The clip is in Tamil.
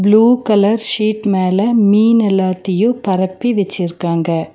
ப்ளூ கலர் சீட் மேல மீன் எல்லாத்தியு பரப்பி வெச்சிருக்காங்க.